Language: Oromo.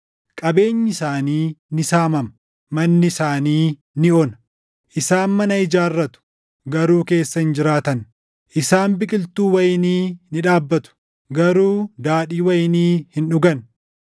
Qabeenyi isaanii ni saamama; manni isaanii ni ona. Isaan mana ijaarratu; garuu keessa hin jiraatan; isaan biqiltuu wayinii ni dhaabbatu; garuu daadhii wayinii hin dhugan.”